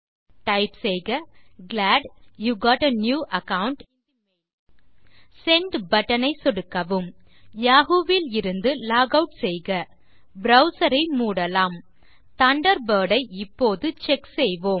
type செய்க glad you got a new account in the mail send button ஐ சொடுக்கவும் Yahoo விலிருந்து log out செய்க ப்ரவ்சர் ஐ மூடலாம் தண்டர்பர்ட் ஐ இப்போது செக் செய்வோம்